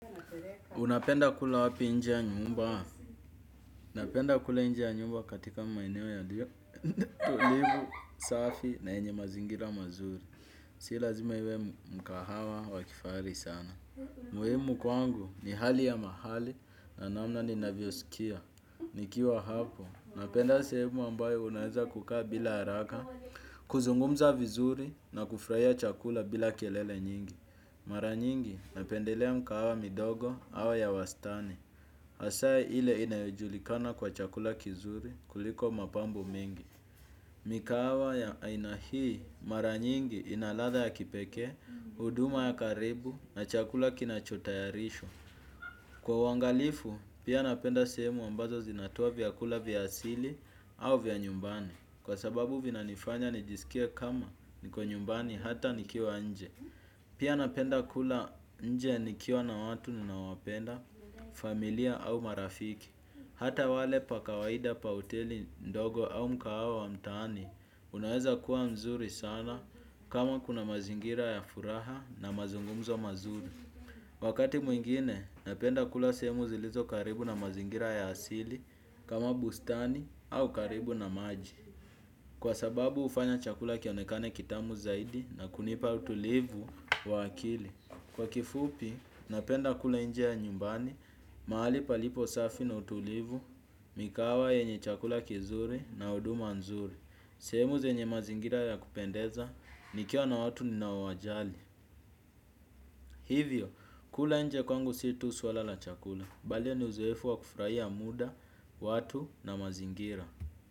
Unapenda kula wapi nje ya nyumba? Napenda kula nje ya nyumba katika maeneo yalio tulivu, safi na yenye mazingira mazuri. Sii lazima iwe mkahawa wa kifahari sana. Muhimu kwangu ni hali ya mahali na namna ninavyo sikia. Nikiwa hapo, napenda sehemu ambayo naweza kukaa bila haraka, kuzungumza vizuri na kufurahia chakula bila kelele nyingi. Mara nyingi napendelea mkahawa midogo au ya wastani. Hasa ile inajulikana kwa chakula kizuri kuliko mapambo mengi. Mkahawa ya ina hii mara nyingi ina ladha ya kipekee huduma ya karibu na chakula kinachotayarishwa kwa uangalifu pia napenda sehemu ambazo zinatoa vyakula vya asili au vya nyumbani kwa sababu vina nifanya nijisikia kama niko nyumbani hata nikiwa nje. Pia napenda kula nje nikiwa na watu ninaowapenda, familia au marafiki. Hata wali pa kawaida pa hoteli ndogo au mkahawa wa mtaani, unaweza kuwa mzuri sana kama kuna mazingira ya furaha na mazungumzo mazuri. Wakati mwingine, napenda kula sehemu zilizo karibu na mazingira ya asili kama bustani au karibu na maji. Kwa sababu hufanya chakula kionekane kitamu zaidi na kunipa utulivu wa akili. Kwa kifupi, napenda kula nje ya nyumbani, mahali palipo safi na utulivu, mikahawa yenye chakula kizuri na huduma nzuri. Sehemu zenye mazingira ya kupendeza, nikiwa na watu ninaowajali. Hivyo, kula nje kwangu sio tu swala la chakula. Bali ni uzoefu wa kufurahia muda, watu na mazingira.